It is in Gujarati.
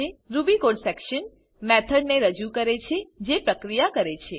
રૂબી કોડ સેક્શન મેથોડ ને રજુ કરે છે જે પ્રક્રિયા કરે છે